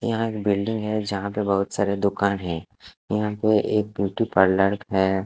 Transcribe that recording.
यहां एक बिल्डिंग है। जहां पे बहोत सारे दुकान है। यहां पे एक ब्यूटी पार्लर है।